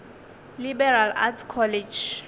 liberal arts college